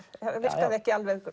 virkaði ekki alveg